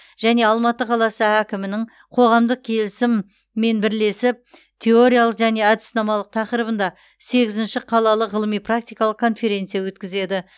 және алматы қаласы әкімінің коғамдық келісіммен бірлесіп теориялық және әдіснамалық тақырыбында сегізінші қалалық ғылыми практикалық конференция өткізеді